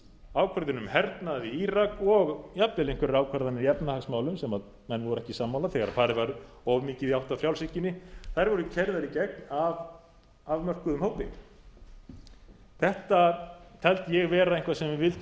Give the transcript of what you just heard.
ákvörðun um hernað í írak og jafnvel einhverjar ákvarðanir í efnahagsmálum sem menn voru ekki sammála þegar farið var of mikið í átt að frjálshyggjunni þær voru gerðar í gegn af afmörkuðum hópi þetta taldi ég vera eitthvað sem við vildum